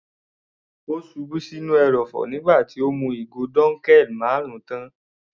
Ó ṣubú sí inú ẹrọ̀fọ̀ nígbà tí ó mú ìgò dunkel marun tán.